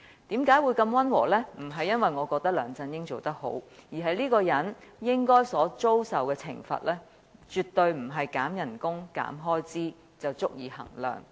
並非由於我認為梁振英做得好，而是這個人應遭受的懲罰絕非減薪或削減開支便足以相抵。